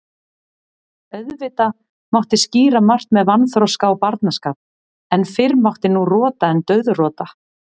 Auðvitað mátti skýra margt með vanþroska og barnaskap, en fyrr mátti nú rota en dauðrota.